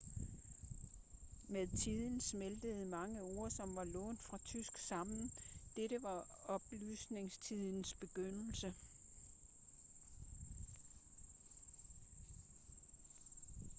med tiden smeltede mange ord som var lånt fra tysk sammen dette var oplysningstidens begyndelse